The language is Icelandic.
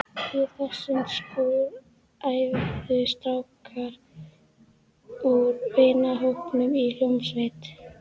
Í þessum skúr æfðu strákar úr vinahópnum í hljómsveit.